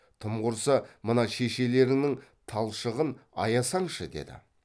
тым құрса мына шешелеріңнің талшығын аясаңшы деді